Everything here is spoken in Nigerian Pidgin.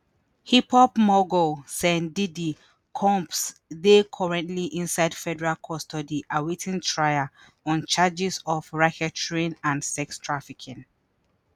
hip-hop mogul sean "diddy" combs dey currently inside federal custody awaiting trial on charges of racketeering and sex trafficking.